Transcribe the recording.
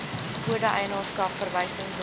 kode eienaarskap verwysingsnommer